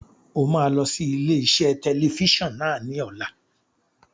O máa lọ sí ilé-iṣẹ́ tẹlifíṣàn náà ní ọ̀la.